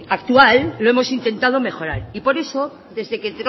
actual lo hemos intentado mejorar y por eso desde que